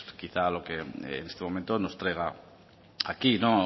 quizás lo que en este momento nos traiga aquí